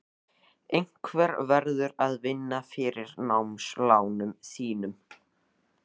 Einhver verður að vinna fyrir námslánunum þínum.